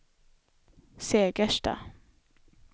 Segersta